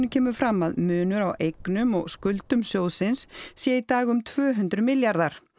kemur fram að munur á eignum og skuldum sjóðsins sé í dag um tvö hundruð milljarðar